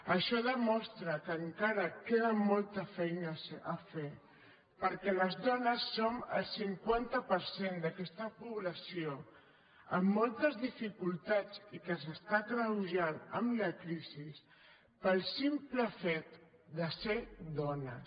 això demostra que encara queda molta feina a fer perquè les dones som el cinquanta per cent d’aquesta població amb moltes dificultats i que s’està agreujant amb la crisi pel simple fet de ser dones